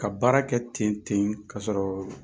Ka baara kɛ ten ten ka sɔrɔ